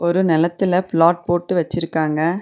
ஒரு நெலத்துல பிளாட் போட்டு வச்சிருக்காங்க.